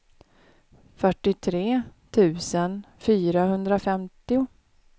fyrtiotre tusen fyrahundrafemtio